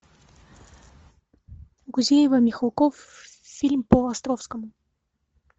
гузеева михалков фильм по островскому